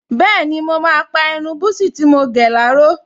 Bẹ́ẹ̀ni, mo máa pa irun búsí tí mo gẹ̀ láró